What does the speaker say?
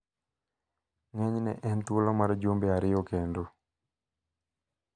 Ng`enyne en thuolo mar jumbe ariyo kendo.